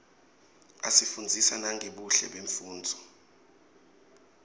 asifundzisa nangebuhle bemfunduo